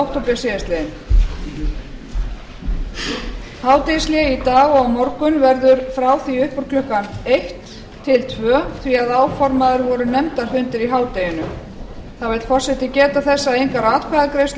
hádegishlé í dag og á morgun verður frá því upp úr klukkan eitt til tvö því áformaðir eru nefndarfundir í hádeginu þá vill forseti geta þess að engar atkvæðagreiðslur